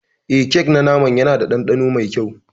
Eh kek na naman Yana da dandano mai kyau.